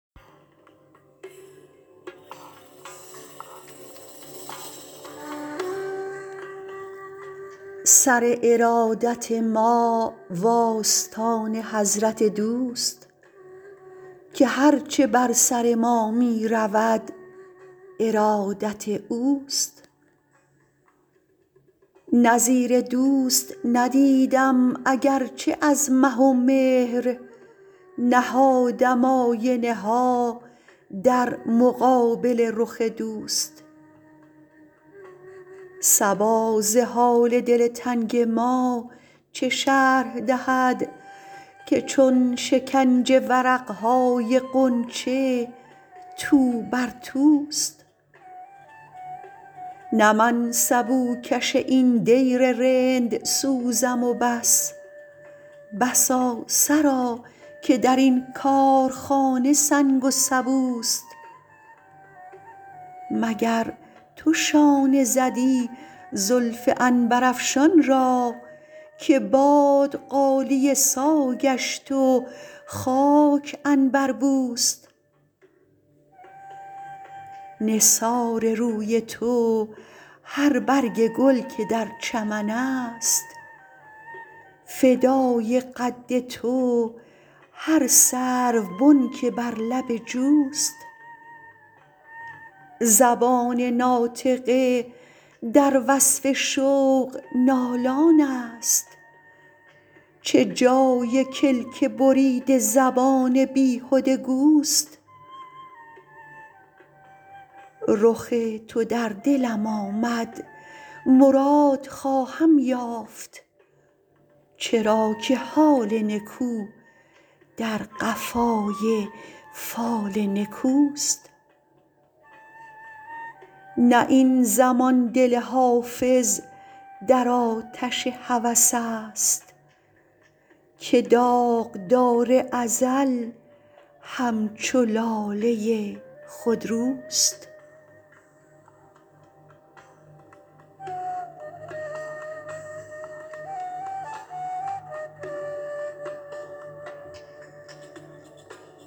سر ارادت ما و آستان حضرت دوست که هر چه بر سر ما می رود ارادت اوست نظیر دوست ندیدم اگر چه از مه و مهر نهادم آینه ها در مقابل رخ دوست صبا ز حال دل تنگ ما چه شرح دهد که چون شکنج ورق های غنچه تو بر توست نه من سبوکش این دیر رندسوزم و بس بسا سرا که در این کارخانه سنگ و سبوست مگر تو شانه زدی زلف عنبرافشان را که باد غالیه سا گشت و خاک عنبربوست نثار روی تو هر برگ گل که در چمن است فدای قد تو هر سروبن که بر لب جوست زبان ناطقه در وصف شوق نالان است چه جای کلک بریده زبان بیهده گوست رخ تو در دلم آمد مراد خواهم یافت چرا که حال نکو در قفای فال نکوست نه این زمان دل حافظ در آتش هوس است که داغدار ازل همچو لاله خودروست